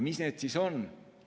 Mis need siis on?